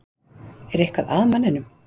Er eitthvað að manninum?